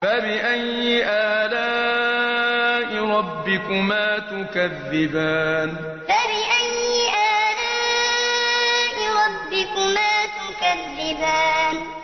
فَبِأَيِّ آلَاءِ رَبِّكُمَا تُكَذِّبَانِ فَبِأَيِّ آلَاءِ رَبِّكُمَا تُكَذِّبَانِ